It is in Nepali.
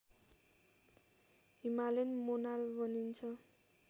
हिमालयन मोनाल भनिन्छ